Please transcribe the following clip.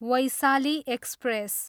Vaishali express